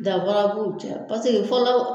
Danfara b'u cɛ pase fɔlɔ